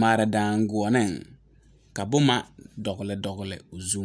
mare la daŋkyine ka boma dɔgle o zu